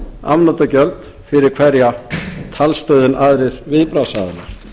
afnotagjöld fyrir hverja talstöð en aðrir viðbragðsaðilar